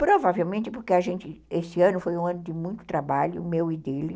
Provavelmente porque esse ano foi um ano de muito trabalho, o meu e dele.